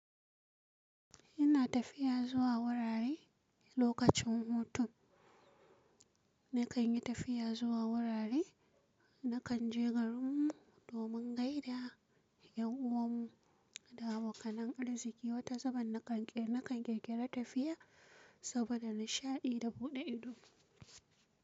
Ina tafiya zuwa wurare lokacin hutun. Nakan yi tafiya zuwa wurare, nakan je garin mu domin gaida yan uwan mu da abokan arziƙi. Wata zubin nakan ƙirƙira tafiya saboda nishaɗi da buɗe ido.